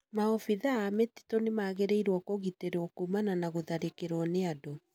Maobithaa a mĩtitu nĩmagĩrĩire kũgitĩrwo kuumana na gũtharĩkĩrwo nĩ andũ